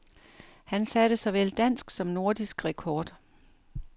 Han satte såvel dansk som nordisk rekord.